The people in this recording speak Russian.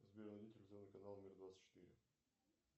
сбер найди телевизионный канал мир двадцать четыре